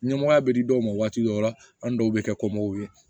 Ɲɛmɔgɔya bɛ di dɔw ma waati dɔw la an dɔw bɛ kɛ kom'o ye